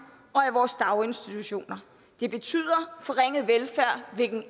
og i vores daginstitutioner det betyder forringet velfærd hvilket